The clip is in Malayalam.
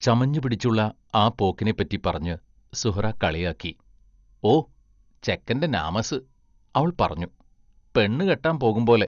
ചമഞ്ഞുപിടിച്ചുള്ള ആ പോക്കിനെപ്പറ്റി പറഞ്ഞ് സുഹ്റാ കളിയാക്കി ഓ, ചെക്കന്റെ നാമസ് അവൾ പറഞ്ഞു: പെണ്ണുകെട്ടാൻ പോകുമ്പോലെ....